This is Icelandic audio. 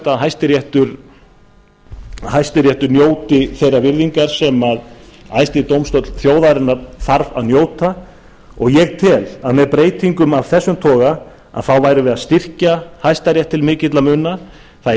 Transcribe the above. að hæstiréttur njóti þeirrar virðingar sem æðsti dómstóll þjóðarinnar þarf að njóta og ég tel að með breytingum af þessum toga værum við að styrkja hæstarétt til mikilla muna það